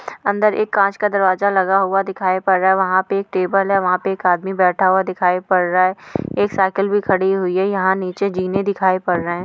अंदर एक कांच का दरवाजा लगा हुआ दिखाई पड़ रहा है। वहाँ पे एक टेबल है। वहाँ पे एक आदमी बैठा हुआ दिखाई पड़ रहा है। एक साइकिल भी खड़ी हुई है। यहाँ नीचे यह जीने दिखाई पड़ रहे है।